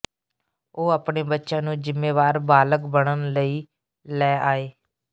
ਉਹ ਆਪਣੇ ਬੱਚਿਆਂ ਨੂੰ ਜ਼ਿੰਮੇਵਾਰ ਬਾਲਗ ਬਣਨ ਲਈ ਲੈ ਆਏ